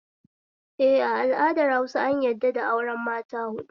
Eh, a al'adar Hausa an yadda da auren mata huɗu